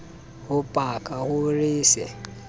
ho paka ho re se